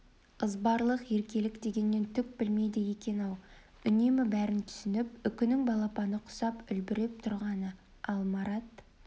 ызбарлық еркелік дегеннен түк білмейді екен-ау үнемі бәрін түсініп үкінің балапаны құсап үлбіреп тұрғаны ал марат